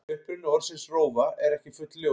Uppruni orðsins rófa er ekki fullljós.